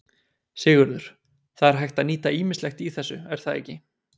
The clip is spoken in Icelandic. Sigurður: Það er hægt að nýta ýmislegt í þessu, er það ekki?